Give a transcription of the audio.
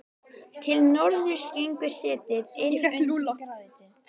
Til norðurs gengur setið inn undir grágrýtið.